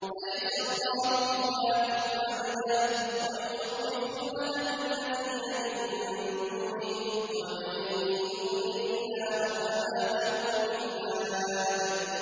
أَلَيْسَ اللَّهُ بِكَافٍ عَبْدَهُ ۖ وَيُخَوِّفُونَكَ بِالَّذِينَ مِن دُونِهِ ۚ وَمَن يُضْلِلِ اللَّهُ فَمَا لَهُ مِنْ هَادٍ